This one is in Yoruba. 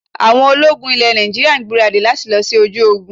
Àwọn ológun ilẹ̀ Nàìjíríà ń gbaradì lati lọ sí ojú ogun